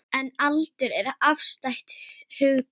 En aldur er afstætt hugtak.